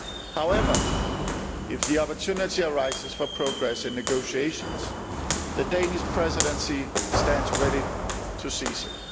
However, if the opportunity for progress in negotiations arises, the Danish Presidency stands ready to seize it.